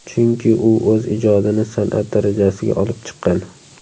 Chunki u o‘z ijodini san’at darajasiga olib chiqqan.